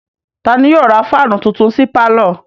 Ta ni yóò ra fáánù tuntun sí pálọ̀?